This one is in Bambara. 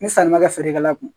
Ni sanni ma kɛ feerekɛla kun